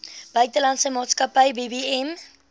buitelandse maatskappy bbm